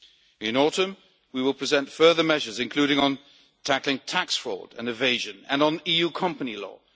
In the autumn we will present further measures, including on tackling tax fraud and tax evasion and on EU company law.